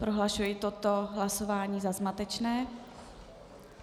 Prohlašuji toto hlasování za zmatečné.